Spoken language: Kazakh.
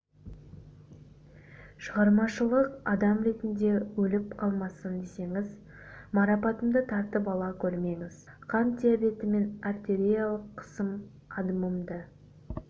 шығармашылық адам ретінде өліп қалмасын десеңіз марапатымды тартып ала гөрмеңіз қант диабеті мен артериалдық қысым адымымды